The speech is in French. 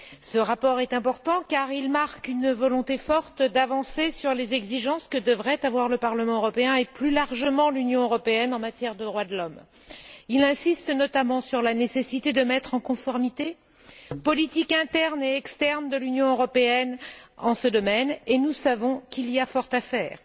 Ce rapport est important car il marque une volonté forte d'avancer sur les exigences que devraient avoir le Parlement européen et, plus largement, l'Union européenne en matière de droits de l'homme. Il insiste notamment sur la nécessité de mettre en conformité les politiques internes et externes de l'Union européenne en ce domaine, et nous savons qu'il y a fort à faire.